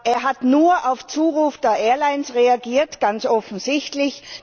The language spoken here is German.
Er hat nur auf Zuruf der Airlines reagiert ganz offensichtlich.